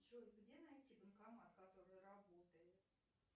джой где найти банкомат который работает